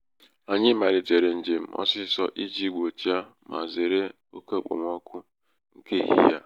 anyị malitere njem ọsịsọ iji gbochie ma zere oke okpomọkụ nke ehihie a.